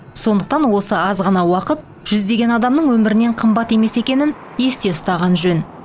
сондықтан осы аз ғана уақыт жүздеген адамның өмірінен қымбат емес екенін есте ұстаған жөн